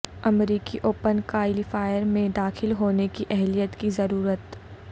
امریکی open qualifier میں داخل ہونے کی اہلیت کی ضرورت